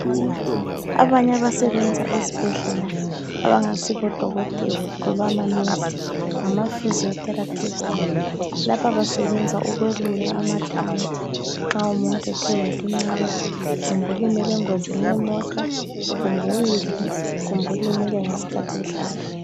Abanye abasebenza ezibhedlela abangasibodokotela loba amanesi ngama physiotherapists. Lapha basebenza ukwelula amathambo nxa umuntu ethe walimala kumbe ulimele engozini yemota, kumbe uwile kumbe ulimele ngesikhathi edlala